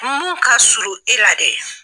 Mun ka surun e la dɛ.